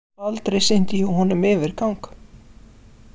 Aldrei sýndi ég honum yfirgang.